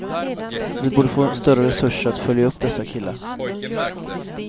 Vi borde få större resurser att följa upp dessa killar.